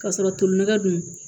K'a sɔrɔ tolina dun